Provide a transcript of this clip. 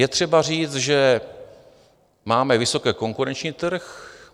Je třeba říct, že máme vysoce konkurenční trh.